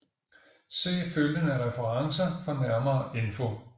Se følgende referencer for nærmere info